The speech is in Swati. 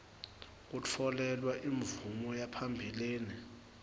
kutfolelwa imvume yaphambilini